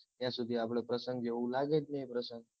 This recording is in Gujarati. ત્યાં સુધી આપડે પ્રસંગ જેવું લાગે જ નહિ પ્રસંગ